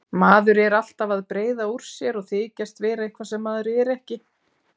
Maður er alltaf að breiða úr sér og þykjast vera eitthvað sem maður er ekki.